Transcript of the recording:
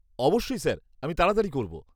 অবশ্যই স্যার, আমি তাড়াতাড়ি করব।